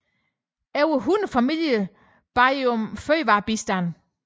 Over 100 familier bad om fødevarebistand